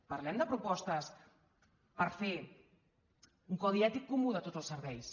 parlem de propostes per fer un codi ètic comú de tots els serveis